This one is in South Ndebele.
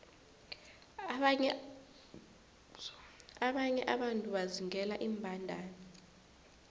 abanye abantu bazingela iimbandana